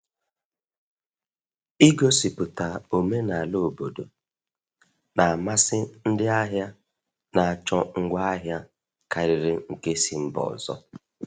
Igosipụta omenala obodo na-amasị ndị ahịa na-achọ ngwaahịa karịrị nke si mba ọzọ.